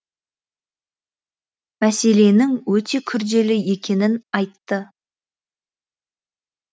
мәселенің өте күрделі екенін айтты